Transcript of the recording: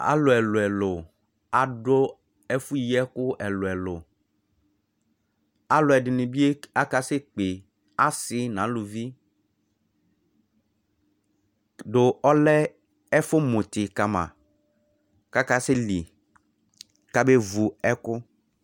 Alʋ ɛlʋ elʋ elʋ adʋ ɛfʋ yi ɛkʋ ɛlʋ elʋ ɛlʋ alʋɛdini bi aka sekpe asi nʋ alʋvi dʋ ɔlɛ ɛfʋmʋti kama kʋ akaseli kabe vu ɛkʋ